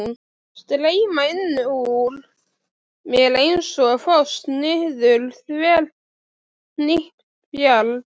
Streyma innan úr mér einsog foss niður þverhnípt bjarg.